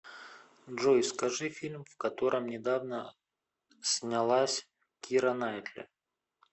джой скажи фильм в котором недавно снялась кира наитли